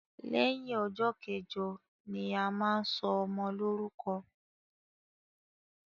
Lẹyìn ọjọ́ kẹjọ ni a máa ń ṣọmọ lórúkọ